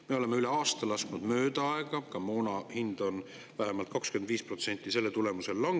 Me oleme üle aasta lasknud mööda aega, ka moona hind on selle tulemusel vähemalt 25%.